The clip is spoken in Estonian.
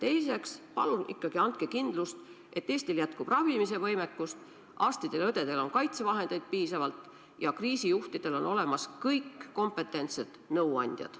Teiseks, palun ikkagi andke kindlust, et Eestil jätkub ravimise võimekust, arstidel ja õdedel on kaitsevahendeid piisavalt ja kriisijuhtidel on olemas kõik kompetentsed nõuandjad.